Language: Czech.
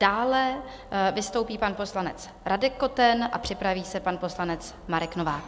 Dále vystoupí pan poslanec Radek Koten a připraví se pan poslanec Marek Novák.